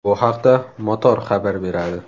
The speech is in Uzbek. Bu haqda Motor xabar beradi .